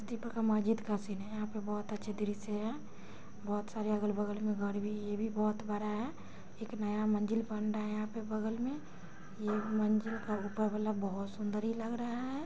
का मस्जिद का सीन है। यहाँ पे बहुत अच्छा दृश्य है। बहुत सारे अगल-बगल में घर भी है। ये भी बहुत बड़ा है। एक नया मंजिल बन रहा है यहाँ पे बगल में। ये मंजिल का ऊपर वाला बहुत सुंदरी लग रहा है।